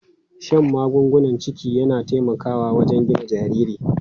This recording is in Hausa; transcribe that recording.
Shan magungunan ciki yana taimakawa wajen gina jariri.